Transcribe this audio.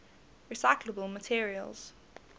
recyclable materials